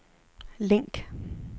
link